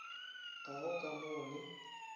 ga go ka mo le